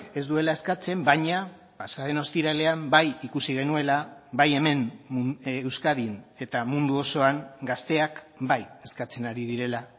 ez duela eskatzen baina pasaden ostiralean bai ikusi genuela bai hemen euskadin eta mundu osoan gazteak bai eskatzen ari direla